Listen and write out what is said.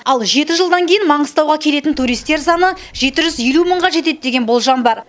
ал жеті жылдан кейін маңғыстауға келетін туристер саны жеті жүз елу мыңға жетеді деген болжам бар